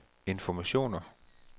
informationer